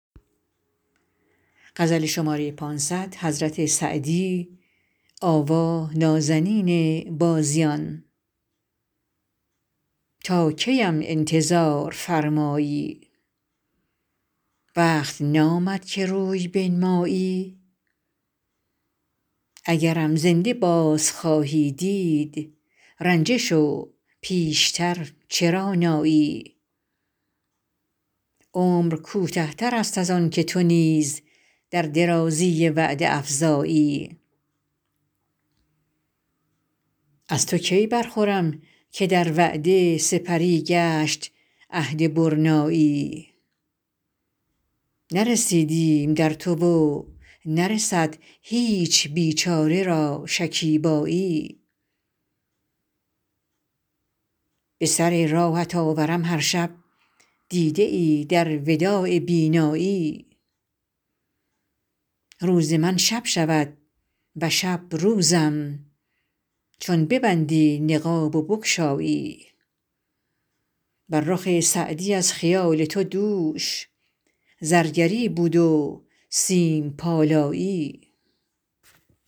تا کی ام انتظار فرمایی وقت نامد که روی بنمایی اگرم زنده باز خواهی دید رنجه شو پیش تر چرا نایی عمر کوته تر است از آن که تو نیز در درازی وعده افزایی از تو کی برخورم که در وعده سپری گشت عهد برنایی نرسیدیم در تو و نرسد هیچ بیچاره را شکیبایی به سر راهت آورم هر شب دیده ای در وداع بینایی روز من شب شود و شب روزم چون ببندی نقاب و بگشایی بر رخ سعدی از خیال تو دوش زرگری بود و سیم پالایی